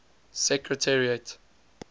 secretariat